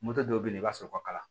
Moto dɔw bɛ yen i b'a sɔrɔ o ka kalan